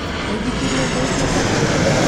Muithikiri ũthũkĩte kũ?